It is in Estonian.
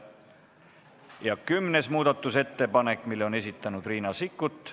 Ja kümnes muudatusettepanek, mille on esitanud Riina Sikkut.